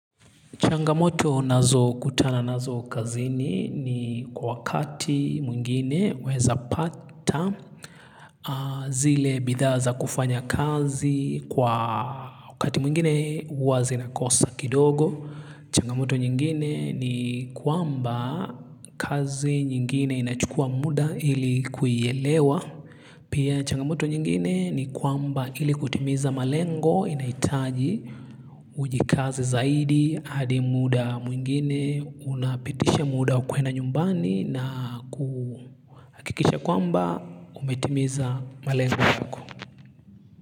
Changamoto nazo kutana nazo kazini ni kwa wakati mwingine waweza pata zile bidhaa za kufanya kazi kwa wakati mwingine huwa zinakosa kidogo. Changamoto nyingine ni kwamba kazi nyingine inachukuwa muda ili kuielewa. Pia changamoto nyingine ni kwamba ili kutimiza malengo inahitaji ujikaze zaidi hadi muda mwingine unapitisha muda wa kwenda nyumbani na kuhakikisha kwamba umetimiza malengo yako.